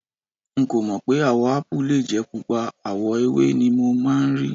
N kò mọ̀ pé àwò Ápù lè jẹ́ Pupa, àwọ̀ ewé ni mo máa ń rí.